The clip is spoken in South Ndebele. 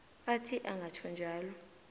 athi angatjho njalo